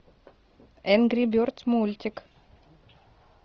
энгри бердс мультик